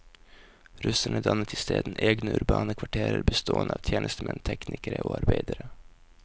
Russerne dannet i stedet egne urbane kvarterer bestående av tjenestemenn, teknikere og arbeidere.